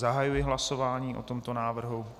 Zahajuji hlasování o tomto návrhu.